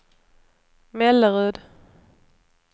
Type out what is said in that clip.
Mellerud